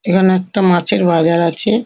এখানে একটা মাছের বাজার আছে।